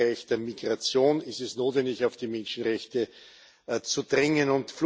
Gerade im Bereich der Migration ist es notwendig, auf die Menschenrechte zu drängen.